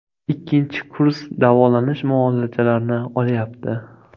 Ikkinchi kurs davolanish muolajalarini olyapti.